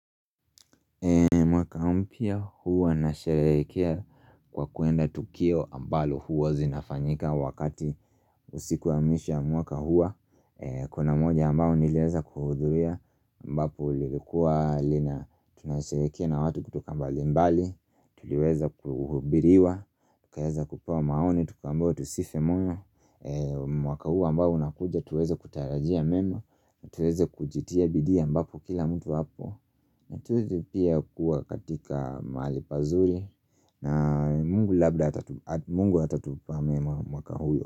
Mwaka mpya huwa nasharehekea kwa kuenda tukio ambalo huwa zinafanyika wakati, usiku wa mwisho ya mwaka huwa Kuna moja ambao niliweza kuhudhuria ambapo lilikuwa lina, tunasherehekea na watu kutoka mbalimbali Tuliweza kuhubiriwa, tukaweza kupewa maoni, tukaambiwa tusife moyo, mwaka huu ambao unakuja tuweze kutarajia mema tuweze kujitia bidii ambapo kila mtu hapo Natuti pia kuwa katika mahali pazuri na mungu labda atatupa mema mwaka huyo.